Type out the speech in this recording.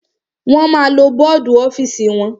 Wọ́n ma lo bọ́dù ọ́fìsì wọn.